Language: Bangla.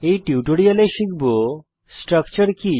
এই টিউটোরিয়ালে শিখব স্ট্রাকচার কি